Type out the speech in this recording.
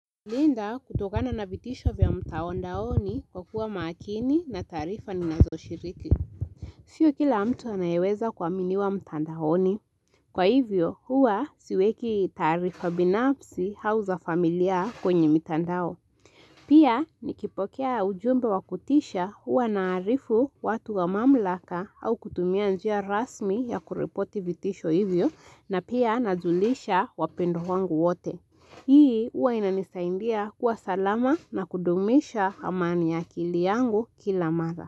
Linda kutokana na vitisho vya mtao ndaoni kwa kuwa makini na taarifa ni nazo shiriki. Siyo kila mtu anayeweza kwa mini wa mta ndaoni. Kwa hivyo, huwa siweki taarifa binafsi au za familia kwenye mita ndao. Pia, nikipokea ujumba wakutisha huwa na arifu watu wa mamlaka au kutumia njia rasmi ya kurepoti vitisho hivyo na pia nazulisha wapendwa wangu wote. Hii huwa inanisaindia kuwa salama na kudumisha amani ya kili yangu kila mara.